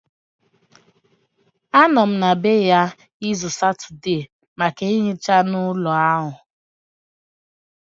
Anọ m n'ebe ya izu Satọde maka nhicha ụlọ ahụ